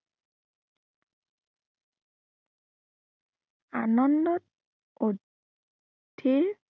আনন্দত, আহ অধীৰ